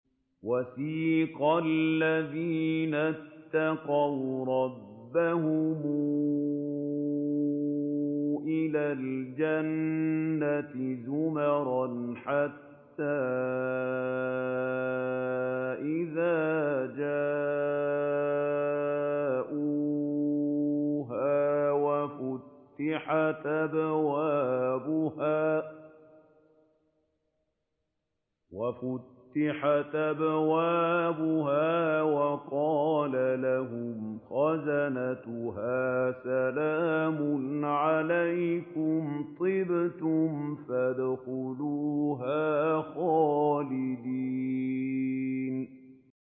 وَسِيقَ الَّذِينَ اتَّقَوْا رَبَّهُمْ إِلَى الْجَنَّةِ زُمَرًا ۖ حَتَّىٰ إِذَا جَاءُوهَا وَفُتِحَتْ أَبْوَابُهَا وَقَالَ لَهُمْ خَزَنَتُهَا سَلَامٌ عَلَيْكُمْ طِبْتُمْ فَادْخُلُوهَا خَالِدِينَ